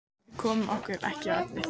Við komum okkur ekki að efninu.